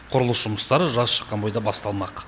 құрылыс жұмыстары жаз шыққан бойда басталмақ